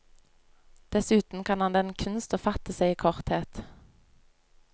Dessuten kan han den kunst å fatte seg i korthet.